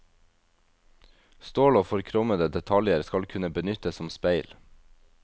Stål og forkrommede detaljer skal kunne benyttes som speil.